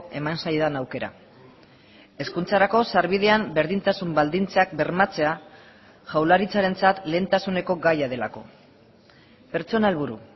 eman zaidan aukera hezkuntzarako sarbidean berdintasun baldintzak bermatzea jaurlaritzarentzat lehentasuneko gaia delako pertsona helburu